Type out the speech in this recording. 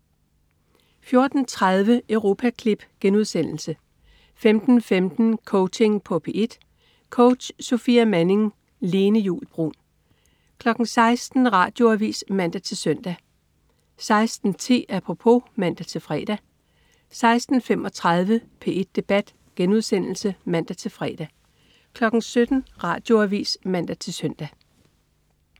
14.30 Europaklip* 15.15 Coaching på P1. Coach: Sofia Manning. Lene Juul Bruun 16.00 Radioavis (man-søn) 16.10 Apropos (man-fre) 16.35 P1 Debat* (man-fre) 17.00 Radioavis (man-søn)